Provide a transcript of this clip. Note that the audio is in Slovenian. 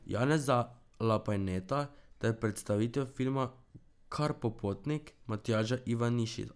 Janeza Lapajneta ter predstavitev filma Karpopotnik Matjaža Ivanišina.